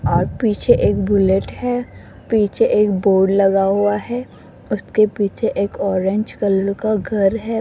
और पीछे एक बुलेट है पीछे एक बोर्ड लगा हुआ है उसके पीछे एक ऑरेंज कलर का घर है।